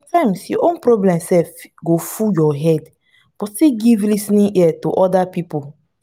sometimes your own problem sef go full your head but still give lis ten ing ear to oda pipo